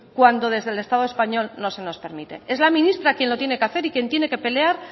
cuando desde el estado español no se nos permite es la ministra quien lo tiene que hacer y quien tiene que pelear